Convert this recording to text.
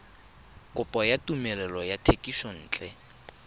kopo ya tumelelo ya thekisontle